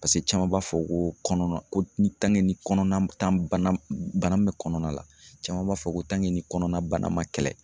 caman b'a fɔ ko kɔnɔna ko ni kɔnɔna tan bana min bɛ kɔnɔna la caman b'a fɔ ko ni kɔnɔna bana ma kɛlɛ